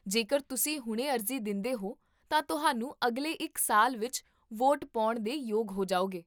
ਜੇਕਰ ਤੁਸੀਂ ਹੁਣੇ ਅਰਜ਼ੀ ਦਿੰਦੇਹੋ ਤਾਂ ਤੁਹਾਨੂੰ ਅਗਲੇ ਇੱਕ ਸਾਲ ਵਿੱਚ ਵੋਟ ਪਾਉਣ ਦੇ ਯੋਗ ਹੋ ਜਾਓਗੇ